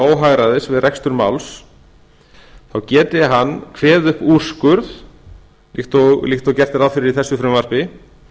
óhagræðis við rekstur máls þá geti hann kveðið upp úrskurð líkt og gert er ráð fyrir í þessu frumvarpi